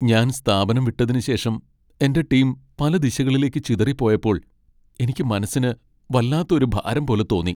ഞാൻ സ്ഥാപനം വിട്ടതിന് ശേഷം എന്റെ ടീം പല ദിശകളിലേക്ക് ചിതറിപോയപ്പോൾ എനിക്ക് മനസ്സിന് വല്ലാത്ത ഒരു ഭാരം പോലെ തോന്നി .